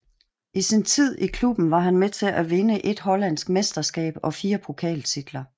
I sin tid i klubben var han med til at vinde ét hollandske mesterskab og fire pokaltitler